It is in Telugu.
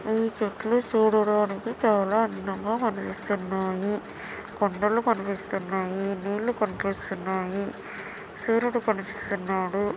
ఈ చెట్లు చూడడానికి చాలా అందంగా కనిపిస్తున్నాయి కొండలు కనిపిస్తున్నాయి నిల్లు కనిపిస్తున్నాయి సూర్యుడు కనిపిస్తున్నాడు.